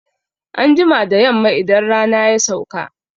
Anjima da Yamma idan rana ya sauka